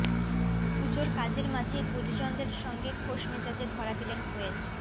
পুজোর কাজের মাঝেই পরিজনদের সঙ্গে খোশমেজাজে ধরা দিলেন কোয়েল